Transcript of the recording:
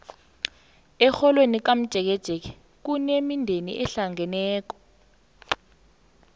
erholweni lakamtjeketjeke kunemindeni ehlangeneko